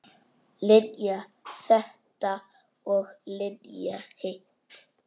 Linja þetta og Linja hitt.